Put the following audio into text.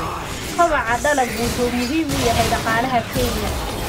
Kobaca dalaggu wuxuu muhiim u yahay dhaqaalaha Kenya.